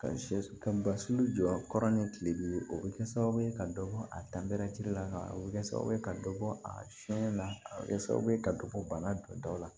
Ka sɛ ka basi jɔ kɔrɔ ni kile bi ye o bɛ kɛ sababu ye ka dɔ bɔ a dan bereti la a bɛ kɛ sababu ye ka dɔ bɔ a sɛnɛna a bɛ kɛ sababu ye ka dɔ bɔ bana don daw la